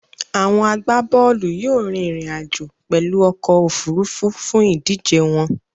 Àwon agbábólù yio rín ìrìn àjò pèlu okò òfurufú fún ìdíje won